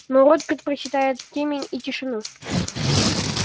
мой род предпочитает темень и тишину